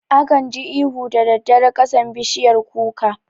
Akan ji ihu daddare kasan bishiyar kuka